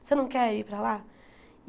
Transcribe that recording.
Você não quer ir para lá?